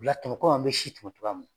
kɔmi an bɛ si tɔmɔ cogoya min na.